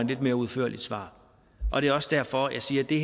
lidt mere udførligt svar og det er også derfor jeg siger at det